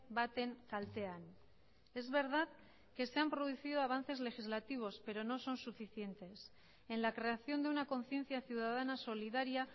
baten kaltean es verdad que se han producido avances legislativos pero no son suficientes en la creación de una conciencia ciudadana solidaria